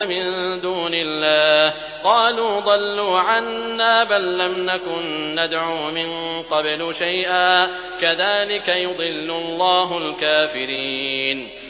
مِن دُونِ اللَّهِ ۖ قَالُوا ضَلُّوا عَنَّا بَل لَّمْ نَكُن نَّدْعُو مِن قَبْلُ شَيْئًا ۚ كَذَٰلِكَ يُضِلُّ اللَّهُ الْكَافِرِينَ